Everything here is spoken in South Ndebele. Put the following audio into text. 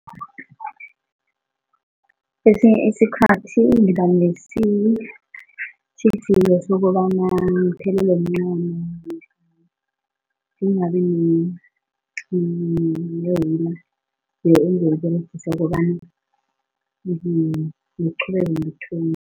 Kwesinye isikhathi ngibanesitjhijilo sokobana ngiphelelwe mncamo ngingabinewula engizoyiberegisa ukobana ngiqhubeke ngithunge.